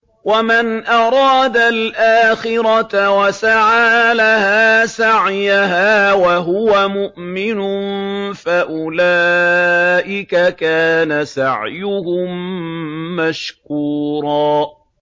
وَمَنْ أَرَادَ الْآخِرَةَ وَسَعَىٰ لَهَا سَعْيَهَا وَهُوَ مُؤْمِنٌ فَأُولَٰئِكَ كَانَ سَعْيُهُم مَّشْكُورًا